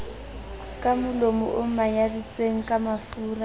kamolomo o manyaditsweng ka mafuraa